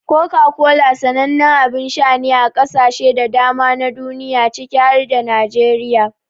Coca-Cola sanannen abin sha ne a kasashe da dama na duniya ciki har da Najeriya.